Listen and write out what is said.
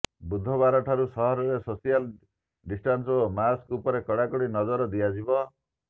ବୁଧବାରଠୁ ସହରରେ social distance ଓ mask ଉପରେ କଡ଼ାକଡ଼ି ନଜର ଦିଆଯିବ